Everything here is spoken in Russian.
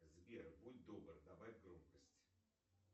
сбер будь добр добавь громкость